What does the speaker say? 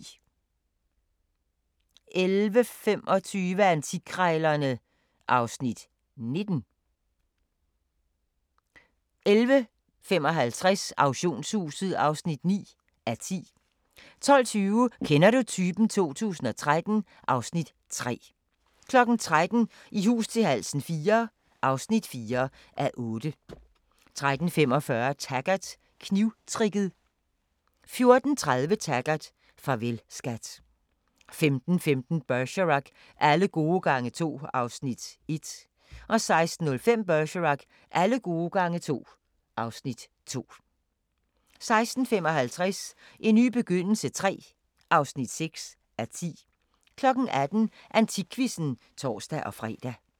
11:25: Antikkrejlerne (Afs. 19) 11:55: Auktionshuset (9:10) 12:20: Kender du typen? 2013 (Afs. 3) 13:00: I hus til halsen IV (4:8) 13:45: Taggart: Knivtricket 14:30: Taggart: Farvel, skat 15:15: Bergerac: Alle gode gange to (Afs. 1) 16:05: Bergerac: Alle gode gange to (Afs. 2) 16:55: En ny begyndelse III (6:10) 18:00: AntikQuizzen (tor-fre)